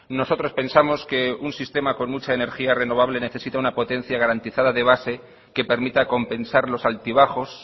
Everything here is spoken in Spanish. nosotros pensamos que un sistema con mucha energía renovable necesita una potencia garantizada de base que permita compensar los altibajos